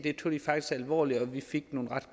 alvorligt og vi fik nogle ret